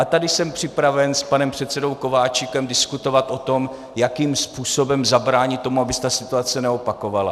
A tady jsem připraven s panem předsedou Kováčikem diskutovat o tom, jakým způsobem zabránit tomu, aby se ta situace opakovala.